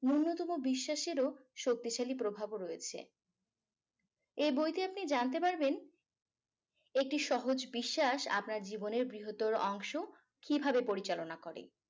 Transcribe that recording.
নূন্যতম বিশ্বাসেরও শক্তিশালী প্রভাব রয়েছে এ বইতে আপনি জানতে পারবেন একটি সহজ বিশ্বাস আপনার জীবনের বৃহত্তর অংশ কিভাবে পরিচালনা করে